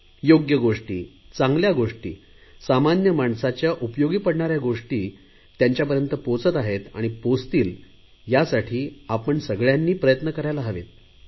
योग्य गोष्टी चांगल्या गोष्टी सामान्य माणसाच्या उपयोगी पडणाऱ्या गोष्टी त्यांच्यापर्यंत पोहचत आहेत आणि पोहचतील यासाठी आपण सगळयांनी प्रयत्न करायला हवेत